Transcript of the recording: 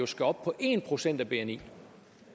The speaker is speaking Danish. skal op på en procent af bni